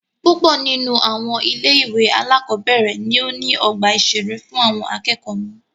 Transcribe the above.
Púpọ nínú àwọn ilé ìwé alákọ̀berẹ̀ ní o ní ọgbà ìṣeré fún àwọn akẹ́kọ̀ọ́ wọn.